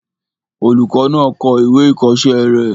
Olùkọ́ náà kọ ìwé ìkọ̀ọ́sẹ́ rẹ̀